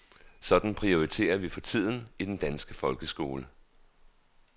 Sådan prioriterer vi for tiden i den danske folkeskole.